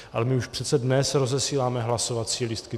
Ale my už přece dnes rozesíláme hlasovací lístky.